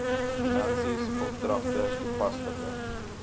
finansies opdragte toepaslike